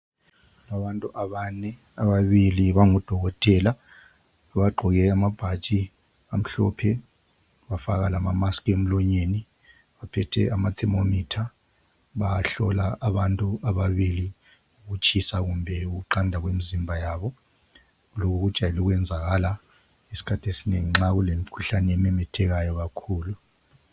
Abantu abane, ababili bangodokotela, bagqoke amabhatshi amhlophe, bafaka lama mask emlonyeni. Baphethe ama thermometer ,bayahlola abantu ababili ukutshisa kumbe ukuqanda kwemizimba yabo. Lokhu ukujwayele ukuyenzakala nxa isikhathi esinengi nxa kulemikhuhlane ememethekayo kakhulu.